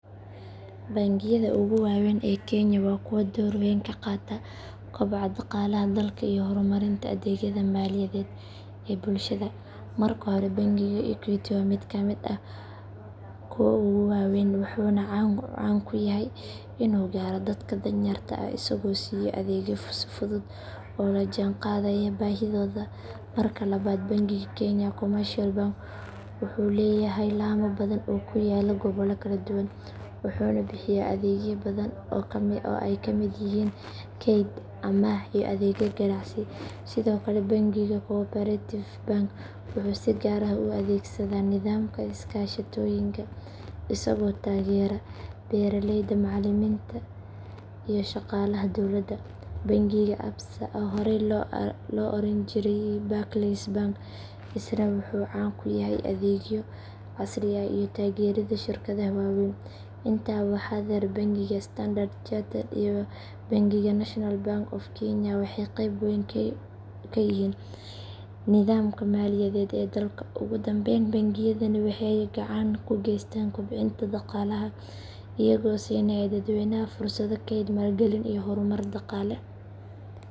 Bangiyada ugu waaweyn ee kenya waa kuwo door weyn ka qaata koboca dhaqaalaha dalka iyo horumarinta adeegyada maaliyadeed ee bulshada. Marka hore bangiga equity waa mid ka mid ah kuwa ugu waaweyn wuxuuna caan ku yahay inuu gaaro dadka danyarta ah isagoo siiyo adeegyo fudud oo la jaanqaadaya baahidooda. Marka labaad bangiga kenya commercial bank wuxuu leeyahay laamo badan oo ku yaalla gobollo kala duwan wuxuuna bixiya adeegyo badan oo ay ka mid yihiin kayd, amaah iyo adeegyo ganacsi. Sidoo kale bangiga cooperative bank wuxuu si gaar ah u adeegsadaa nidaamka iskaashatooyinka isagoo taageera beeraleyda, macallimiinta iyo shaqaalaha dawladda. Bangiga absa oo horay loo oran jiray barclays bank isna wuxuu caan ku yahay adeegyo casri ah iyo taageeridda shirkadaha waaweyn. Intaa waxaa dheer bangiga standard chartered iyo bangiga national bank of kenya waxay qeyb weyn ka yihiin nidaamka maaliyadeed ee dalka. Ugu dambayn bangiyadani waxay gacan ka geystaan kobcinta dhaqaalaha iyagoo siinaya dadweynaha fursado kayd, maalgelin iyo horumar dhaqaale.